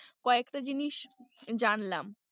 কয়েকটা জিনিস জানলাম।